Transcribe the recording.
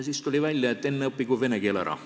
Siis tuli välja, et enne õppigu laps vene keel ära.